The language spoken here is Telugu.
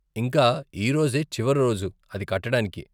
ఇంకా ఈరోజే చివరి రోజు అది కట్టడానికి.